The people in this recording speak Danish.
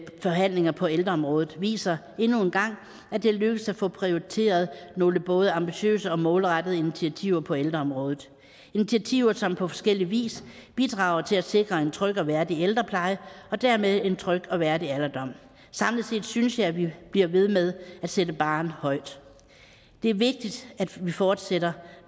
forhandlinger på ældreområdet viser endnu en gang at det er lykkedes at få prioriteret nogle både ambitiøse og målrettede initiativer på ældreområdet initiativer som på forskellig vis bidrager til at sikre en tryg og værdig ældrepleje og dermed en tryg og værdig alderdom samlet set synes jeg at vi bliver ved med at sætte barren højt det er vigtigt at vi fortsætter